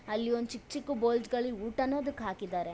ಅಲ್ಲಿ ಒಂದು ಚಿಕ್ ಚಿಕ್ ಬೌಲ್ಸ್ ಗಳಿ ಊಟ ಅದುಕ್ಕೆ ಹಾಕಿದ್ದಾರೆ.